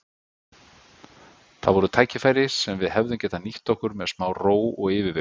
Það voru tækifæri sem við hefðum getað nýtt okkur með smá ró og yfirvegun.